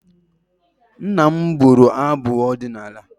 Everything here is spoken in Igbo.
Nna m bụrụ abụ ọdịnala.